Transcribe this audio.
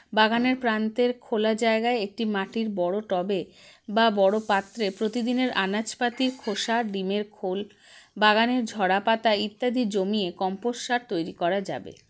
বাগানের প্রান্তের খোলা জায়গায় একটি মাটির বড়ো tub -এ বা বড়ো পাত্রে প্রতিদিনের আনাজপাতির খোসা ডিমের খোল বাগানের ঝড়াপাতা ইত্যাদি জমিয়ে compost সার তৈরী করা যাবে